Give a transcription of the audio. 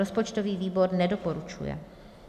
Rozpočtový výbor nedoporučuje.